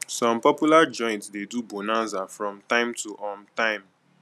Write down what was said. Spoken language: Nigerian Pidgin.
some popular joints de do bonaza from time to um time